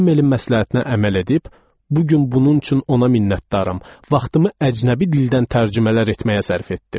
Demelin məsləhətinə əməl edib, bu gün bunun üçün ona minnətdaram, vaxtımı əcnəbi dildən tərcümələr etməyə sərf etdim.